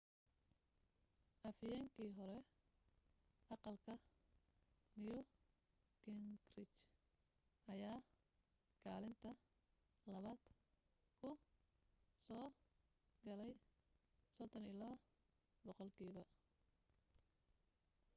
afhayeenkii hore aqalka new gingrich ayaa kaalinta labaad ku soo galay 32 boqolkiiba